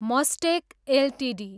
Mastek Ltd